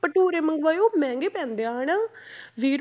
ਭਟੂਰੇ ਮੰਗਵਾਏ ਉਹ ਮਹਿੰਗੇ ਪੈਂਦੇ ਆ ਹਨਾ ਵੀਹ